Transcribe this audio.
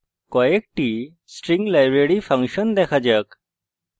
কয়েকটি string library function দেখা যাক